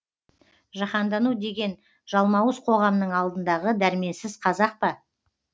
жаһандану деген жалмауыз қоғамның алдындағы дәрменсіз қазақ па